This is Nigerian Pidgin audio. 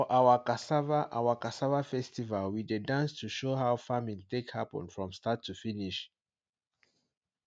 for our cassava our cassava festival we dey dance to show how farming take happen from start to finish